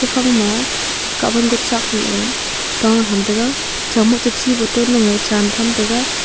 kuphang ma kabon ko chak la tah tham taga chamo cha chi boton nu eh cham tham taga.